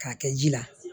K'a kɛ ji la